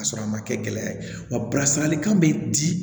K'a sɔrɔ a ma kɛ gɛlɛya ye wasalalikan bɛ di